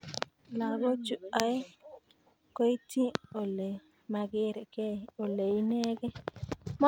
Lagochu oeng koetyin Ole maker kei Ole inegei